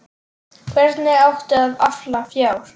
Hvernig átti að afla fjár?